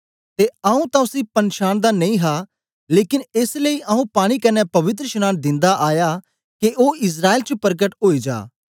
ते आऊँ तां उसी पनछांनदा नेई हा लेकन एस लेई आऊँ पानी कन्ने पवित्रशनांन दिंदा आया के ओ इस्राएल च परकट ओई जा